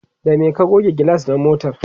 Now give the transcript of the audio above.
da me ka goge gilas na motar?